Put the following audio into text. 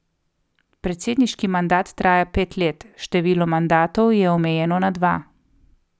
Predsedniški mandat traja pet let, število mandatov je omejeno na dva.